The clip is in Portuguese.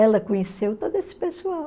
Ela conheceu todo esse pessoal.